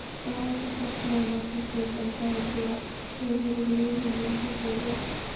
Daði þagði nokkra stund en sagði svo: Hefurðu liðið mikið, góði?